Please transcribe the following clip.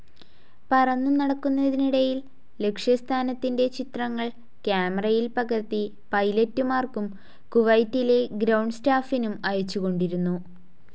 പറന്നു നടക്കുന്നതിനിടയിൽ ലക്ഷ്യസ്ഥാനത്തിന്റെ ചിത്രങ്ങൾ ക്യാമറയിൽ പകർത്തി പൈലറ്റുമാർക്കും കുവൈറ്റിലെ ഗ്രൌണ്ട്‌ സ്റ്റാഫിനും അയച്ചുകൊണ്ടിരുന്നു.